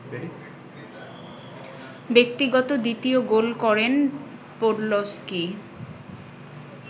ব্যক্তিগত দ্বিতীয় গোল করেন পোডলস্কি